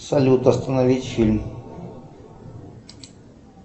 салют остановить фильм